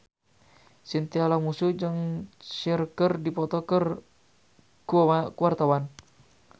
Chintya Lamusu jeung Cher keur dipoto ku wartawan